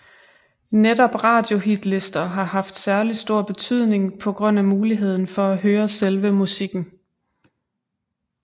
Netop radiohitlister har haft særlig stor betydning på grund af muligheden for at høre selve musikken